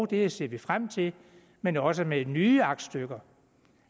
det ser vi frem til men også med nye aktstykker